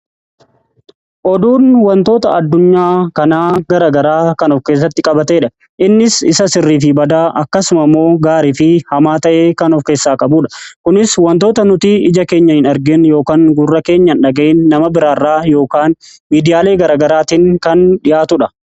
Oduun wantoota addunyaa kanaa gara garaa kan of keessatti qabateedha innis isa sirrii fi badaa akkasuma immoo gaarii fi hamaa ta'ee kan of keessaa qabudha. Kunis wantoota nuti ija keenyaan hin argin yookaan gurra keenyaan hin dhaga'iin nama biraa irraa yookaan miidiyaalee gara garaatiin kan dhi'aatudha.